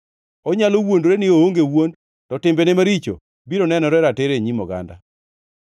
Onyalo wuondore ni oonge wuond, to timbene maricho biro nenore ratiro e nyim oganda.